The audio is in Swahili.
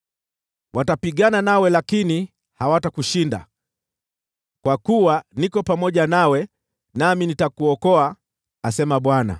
Watapigana nawe lakini hawatakushinda, kwa kuwa niko pamoja nawe, nami nitakuokoa,” asema Bwana .